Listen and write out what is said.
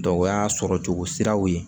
Dɔ o y'a sɔrɔcogo siraw ye